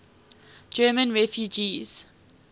german refugees